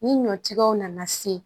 Ni ɲɔtigɛw nana se